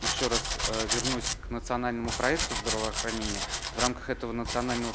ещё раз вернусь к национальному проекту здравоохранения в рамках этого национального